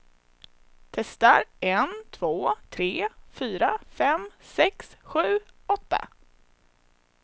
Testar en två tre fyra fem sex sju åtta.